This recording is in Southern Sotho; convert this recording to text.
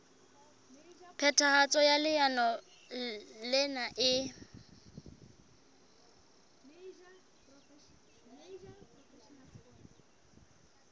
phethahatso ya leano lena e